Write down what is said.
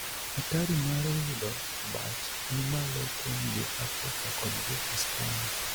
Atari mar yudo abach ni malo kuom jo Afrika kod jo Ispania.